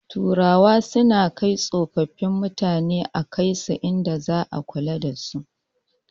Turawa suna kai tsofin mutane a kaisu inda za ana kula dasu